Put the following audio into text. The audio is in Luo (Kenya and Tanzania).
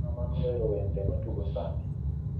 ng'ama nowero wende matugo sani